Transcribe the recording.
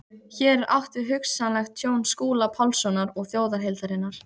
Hér er átt við hugsanlegt tjón Skúla Pálssonar og þjóðarheildarinnar.